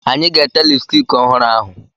Anyị ga-ete lipstiki ọhụrụ ahụ.